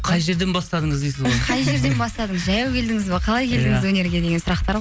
қай жерден бастадыңыз дейсіз ғой қай жерден бастадыңыз жаяу келдіңіз бе қалай келдіңіз өнерге деген сұрақтар